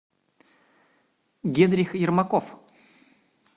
генрих ермаков